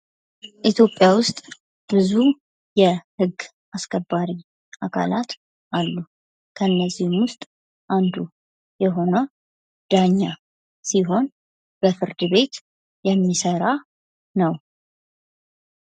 ኢትዮጵያ ዉስጥ ብዙ የህግ አስከባሪ አካላት አሉ። ከነዚህም ዉስጥ አንዱ የሆነው ዳኛ ሲሆን በፍርድ ቤት የሚሰራ ነው።